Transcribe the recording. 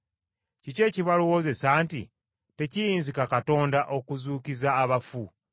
Kiki ekibalowoozesa nti tekiyinzika Katonda okuzuukiza abafu?